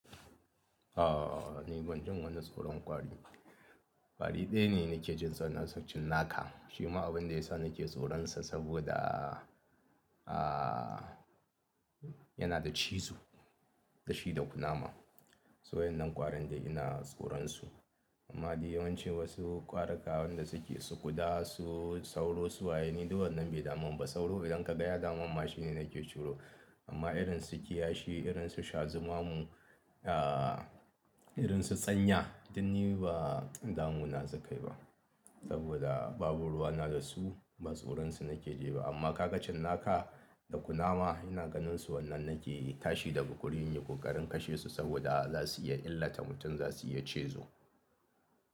Aaa, ni ban jin wannan tsoron ƙwari. Ƙwari ɗaya ne nake jin tsoro sa cinnaka. Shima abin da ya sa nake tsoronsa saboda, aa yana da cizo da shi da kunama. Su wadan nan ƙwarin dai ina tsoronsu. Amma dai yawanci wasu ƙwarikawan da suke su ƙuda, su sauro, su waye ni duk wannan bai daman ba. Sauro idan ka ga ya damam mashi ne nake tsoro. Amma irin sukiya shi, irin su shazuma mu, aa irin su tsanya din ni ba damu na sukayi ba. Saboda babu ruwa na da su ba tsoronsu nake ji ba. Amma ka ga cinnaka da kunama ina ganin su wannan nake tashi daga wurin nayi ko ƙarin kashe su saboda za su iya illata mutum za su iya cizo.